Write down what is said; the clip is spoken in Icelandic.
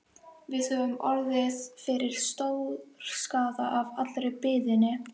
Við höfum orðið fyrir stórskaða af allri biðinni.